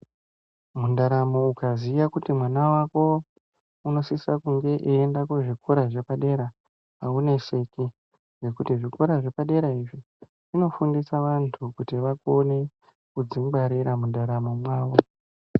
Mundaramo ukaziya kuti mwana wako unosisa kunge eyinda kuzvikora zvepadera awuneseki ngokuti zvikora zvepadera kunofundisa vandu kuti vakone kudzingwarira mundaramo mwavo.